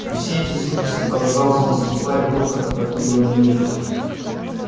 и все эти звуки сопровождал звон стекла и грохот опрокидываемой мебели